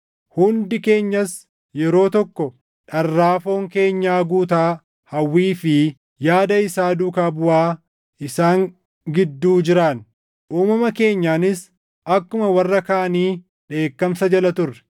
Hundi keenyas yeroo tokko dharraa foon keenyaa guutaa, hawwii fi yaada isaa duukaa buʼaa isaan gidduu jiraanne. Uumama keenyaanis akkuma warra kaanii dheekkamsa jala turre.